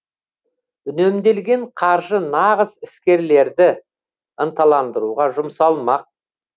үнемделген қаржы нағыз іскерлерді ынталандыруға жұмсалмақ